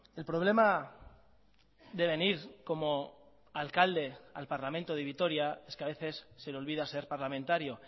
el problema de venir como alcalde al parlamento de vitoria es que a veces se le olvida ser parlamentario